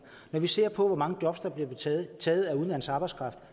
når vi ser på hvor mange job der bliver taget af udenlandsk arbejdskraft